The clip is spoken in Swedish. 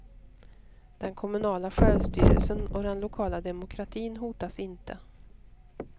Den kommunala självstyrelsen och den lokala demokratin hotas inte.